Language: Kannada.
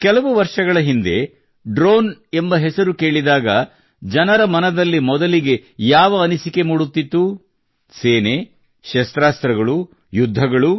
ಕೆಲವು ವರ್ಷಗಳ ಹಿಂದೆ ಡ್ರೋನ್ ಎಂಬ ಹೆಸರು ಕೇಳಿದಾಗ ಜನರ ಮನದಲ್ಲಿ ಮೊದಲಿಗೆ ಯಾವ ಅನಿಸಿಕೆ ಮೂಡುತ್ತಿತ್ತು ಸೇನೆ ಶಸ್ತ್ರಾಸ್ತ್ರಗಳು ಯುದ್ಧಗಳು